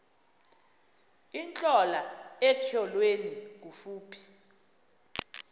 intlola etyholweni kufuphi